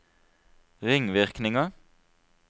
ringvirkninger